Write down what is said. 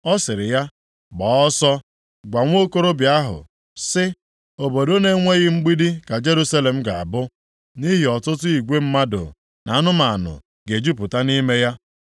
ọ sịrị ya, “Gbaa ọsọ, gwa nwa okorobịa ahụ, sị, ‘Obodo na-enweghị mgbidi ka Jerusalem ga-abụ, nʼihi ọtụtụ igwe mmadụ na anụmanụ ga-ejupụta nʼime ya.